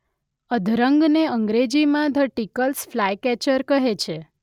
અધરંગને અંગ્રેજીમાં the Tickell's flycatcher કહે છે